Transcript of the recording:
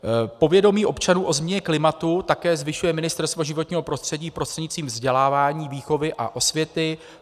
Povědomí občanů o změně klimatu také zvyšuje Ministerstvo životního prostředí prostřednictvím vzdělávání, výchovy a osvěty.